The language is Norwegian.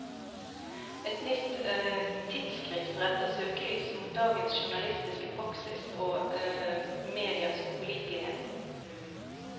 Et nytt tidsskrift retter søkelys mot dagens journalistiske praksis og medias upålitelighet.